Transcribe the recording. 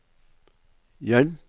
hjelp